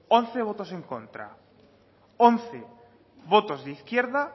once votos en contra once votos de izquierda